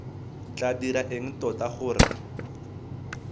tla dira eng tota gore